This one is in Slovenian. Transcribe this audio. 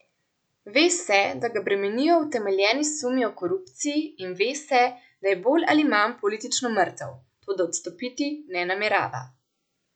Ve se, da ga bremenijo utemeljeni sumi o korupciji, in ve se, da je bolj ali manj politično mrtev, toda odstopiti ne namerava.